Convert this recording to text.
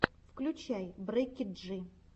включай бекки джи